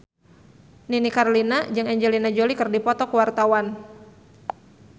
Nini Carlina jeung Angelina Jolie keur dipoto ku wartawan